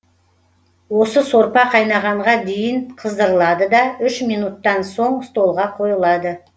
осы сорпа қайнағанға дейін қыздырылады да үш минуттан соң столға қойылады